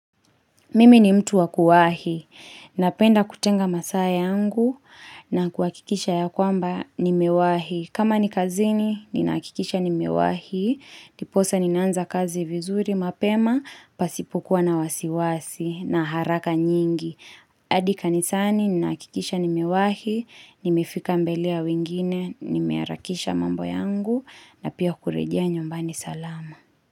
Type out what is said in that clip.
Mimi ni mtu wakuwahi, napenda kutenga masaa yangu na kuwakikisha ya kwamba nimewahi. Kama ni kazini, ninakikisha nimewahi, diposa ninaanza kazi vizuri mapema, pasipukuwa na wasiwasi na haraka nyingi. Adi kanisani, ninakikisha nimewahi, nimefika mbele ya wingine, nimearakisha mambo yangu na pia kurejea nyumbani salama.